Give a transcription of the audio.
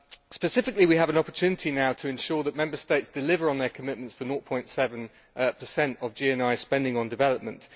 Specifically, we have an opportunity now to ensure that Member States deliver on their commitments for 0.7 of GNI spending on development.